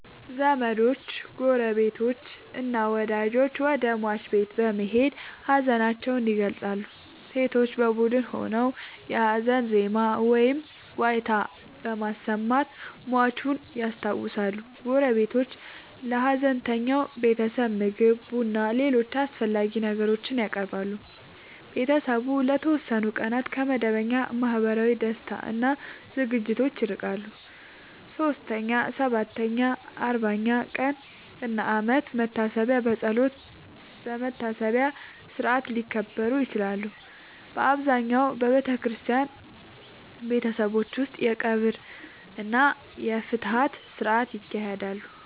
ዘመዶች፣ ጎረቤቶችና ወዳጆች ወደ ሟች ቤት በመሄድ ሀዘናቸውን ይገልጻሉ። ሴቶች በቡድን ሆነው የሀዘን ዜማ ወይም ዋይታ በማሰማት ሟቹን ያስታውሳሉ። ጎረቤቶች ለሀዘንተኛው ቤተሰብ ምግብ፣ ቡናና ሌሎች አስፈላጊ ነገሮችን ያቀርባሉ። ቤተሰቡ ለተወሰኑ ቀናት ከመደበኛ ማህበራዊ ደስታ እና ዝግጅቶች ይርቃል። 3ኛ፣ 7ኛ፣ 40ኛ ቀን እና የአመት መታሰቢያ በጸሎትና በመታሰቢያ ሥርዓት ሊከበሩ ይችላሉ። በአብዛኛው በክርስቲያን ቤተሰቦች ውስጥ የቀብር እና የፍትሐት ሥርዓቶች ይካሄዳሉ።